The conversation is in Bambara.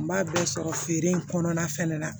N b'a bɛɛ sɔrɔ feere in kɔnɔna fana la